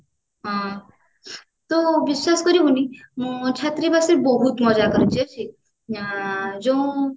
ହଁ ତୁ ବିଶ୍ଵାସ କରିବୁନି ମୁଁ ଛାତ୍ରାବାସରେ ରେ ବହୁତ ବହୁତ ମଜା କରେ ହଁ ଯୋଉ